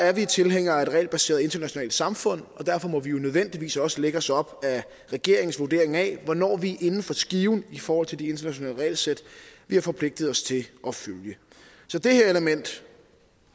er vi tilhængere af et regelbaseret internationalt samfund og derfor må vi jo nødvendigvis også lægge os op ad regeringens vurdering af hvornår vi er inden for skiven i forhold til de internationale regelsæt vi har forpligtet os til at følge så det her element